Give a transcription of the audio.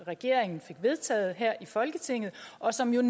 regeringen fik vedtaget her i folketinget og som jo